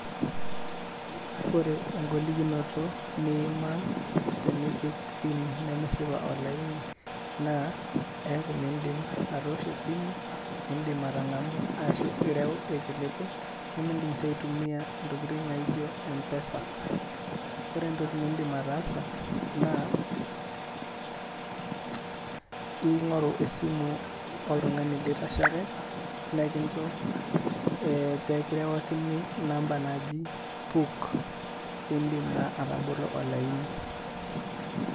Ore egolikinoto nimaa tenipik PIN nemesipa olaini, naa eeku miidim atoosho esimu, nimidim atang'amu ashu midim atarewa irkiliku, midim si aitumia intokiting' naijo M-PESA. Ore entoki niidim ataasa, na [] ing'oru esimu oltung'ani litashare, mrkincho eh pekirewakini namba naaji, PUK. Pidim naa atabolo olaini.